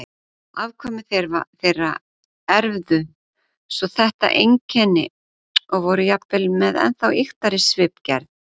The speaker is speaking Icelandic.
Afkvæmi þeirra erfðu svo þetta einkenni og voru jafnvel með ennþá ýktari svipgerð.